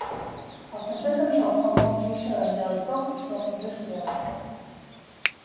а в конце концов он мог и ещё раз сделать то что он уже сделал